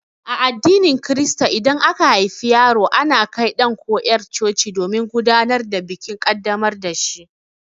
A addinin Kirista idan aka haifi yaro ana kai ɗan ko yar' coci domin gudanar da bikin ƙaddamar da shi.